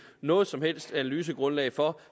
noget som helst analysegrundlag for